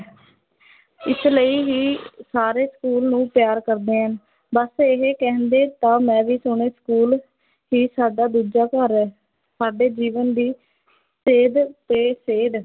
ਇਸ ਲਈ ਹੀ ਸਾਰੇ school ਨੂੰ ਪਿਆਰ ਕਰਦੇ ਹਨ, ਬੱਸ ਇਹ ਕਹਿੰਦੇ ਤਾਂ ਮੈਂ ਵੀ ਸੁਣੇ school ਹੀ ਸਾਡਾ ਦੂਜਾ ਘਰ ਹੈ, ਸਾਡੇ ਜੀਵਨ ਦੀ ਸੇਧ ਅਤੇ ਸੇਧ